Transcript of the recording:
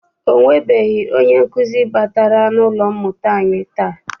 Ọ nwebeghị onye nkụzi batara n'ụlọ mmụta anyi taa.